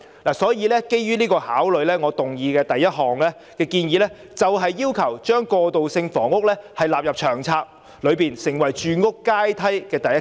因此，基於這些考慮，我的議案第一部分建議，把過渡性房屋納入《長策》，成為住屋階梯的第一級。